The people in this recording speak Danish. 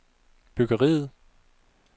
byggeriet